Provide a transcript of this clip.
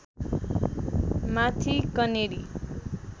माथि कनेरी